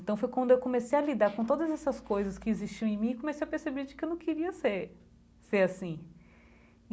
Então, foi quando eu comecei a lidar com todas essas coisas que existiam em mim e comecei a perceber de que eu não queria ser ser assim.